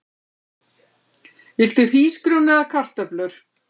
Viltu hrísgrjón eða kartöflur?